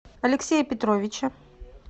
алексея петровича